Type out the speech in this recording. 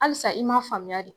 Alisa i m'a faamuya de